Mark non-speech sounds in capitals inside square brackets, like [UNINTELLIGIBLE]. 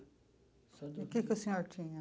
[UNINTELLIGIBLE] E o que que o senhor tinha?